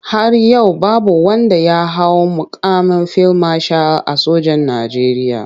Har yau babu wanda ya hau muƙamin fil mashal a sojan Najeriya.